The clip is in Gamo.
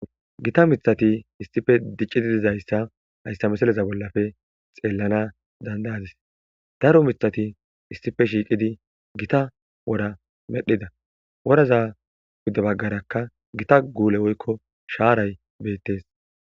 Gita mithati issife diccididizayssa hayssa mesaleza bollafe xeellana dandayadis daro mithati issife shiiqidi gita wora medhida woraza gudde baggarakka gita guule woykko shaaray beettes.